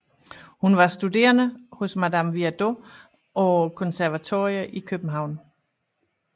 Hun var studerende hos Madame Viardot og på konservatoriet i København